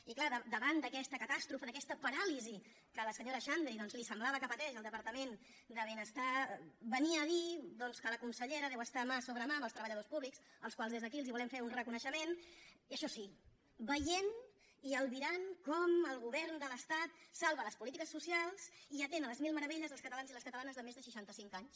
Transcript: i clar davant d’aquesta catàstrofe d’aquesta paràlisi que a la senyora xandri doncs li semblava que pateix el departament de benestar venia a dir doncs que la consellera deu estar mà sobre mà amb els treballadors públics als quals des d’aquí volem fer un reconeixement i això sí veient i albirant com el govern de l’estat salva les polítiques socials i atén a les mil meravelles els catalans i les catalanes de més de seixanta cinc anys